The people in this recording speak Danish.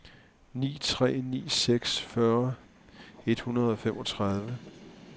ni tre ni seks fyrre et hundrede og femogtredive